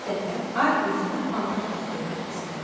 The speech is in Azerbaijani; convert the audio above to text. Bir dəfə ay özünə paltar tikdirmək istədi.